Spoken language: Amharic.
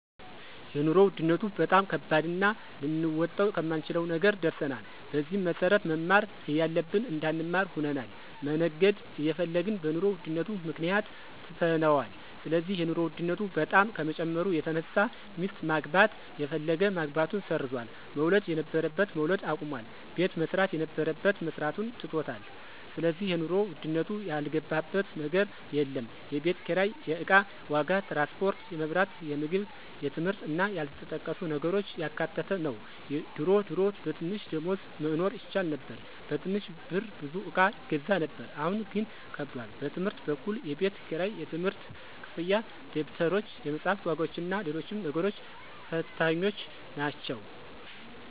የኑሮ ውድነቱ በጣም ከባድና ልንወጣው ከማንችለው ነገር ደርሰናል። በዚህም መሰረት መማር እያለብን እንዳንማር ሆነናል፣ መነገድ እየፈለግን በኑሮ ውድነቱ ምክንያት ትተነዋል ስለዚህ የኑሮ ውድነቱ በጣም ከመጨመሩ የተነሳ ሚስት ማግባት የፈለገ ማግባቱን ሰርዟል፣ መውለድ የነበረበት መውለድ አቁሟል፣ ቤት መስራት የነበረበት መስራቱን ትቶታል ስለዚህ የኑሮ ውድነቱ ያልገባበት ነገር የለም፣ የቤት ኪራይ፣ የእቃ ዋጋ፣ ትራንስፖርት፣ የመብራት፣ የምግብ የትምህርት እና ያልተጠቀሱ ነገሮችን ያካተተ ነው ድሮ ድሮ በትንሽ ደሞዝ መኖር ይቻል ነበር በትንሽ ብር ብዙ እቃ ይገዛ ነበር አሁን ግን ከብዷል። በትምህርት በኩል የቤት ክራይ፣ የትምህርት ክፍያ፣ ደብተሮች፣ የመፅሐፍ ዋጋዎችና ሎሎችም ነገሮች ፈታኞች ናቸው።